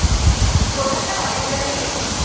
কলকাতার অনেক জায়গায় গেছি